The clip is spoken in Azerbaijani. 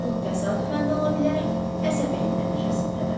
Bu təsadüfən də ola bilər, əsəbilik nəticəsində də.